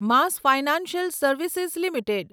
mass financial service limited